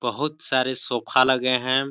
बहुत सारे सोफा लगे हैं।